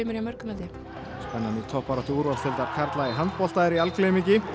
í toppbaráttu úrvalsdeildar karla í handbolta er í algleymingi